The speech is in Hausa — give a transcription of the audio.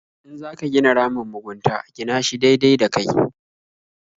In za ka gina ramin mugunta gina shi daidai da kai.